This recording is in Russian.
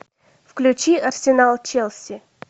включи арсенал челси